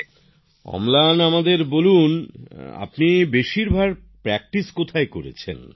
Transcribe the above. মোদিজিঃ অম্লান আমাদের বল তুমি বেশিরভাগ অনুশীলন কোথায় করেছ